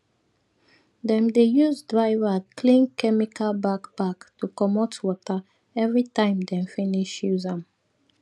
dem dey use dry rag clean chemical backpack to comot water everytime dem finish use am